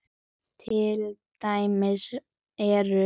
Til dæmis eru